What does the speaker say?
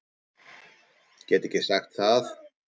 Gat ekki sagt það.